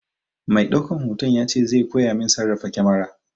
Mai ɗaukan hoto ya ce zai koya min sarrafa kamara.